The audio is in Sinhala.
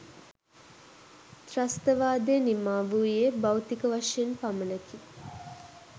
ත්‍රස්ථවාදය නිමා වූයේ භෞතික වශයෙන් පමණකි.